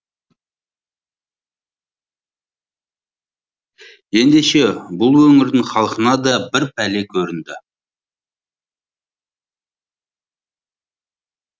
ендеше бұл өңірдің халқына да бір пәле көрінді